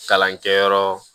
Kalankɛyɔrɔ